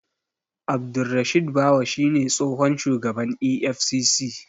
Abdurrashid Bawa shi ne tsohon shugaban EFCC.